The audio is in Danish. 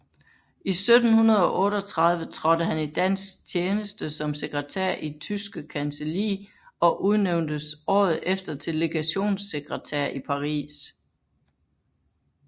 I 1738 trådte han i dansk tjeneste som sekretær i Tyske Kancelli og udnævntes året efter til legationssekretær i Paris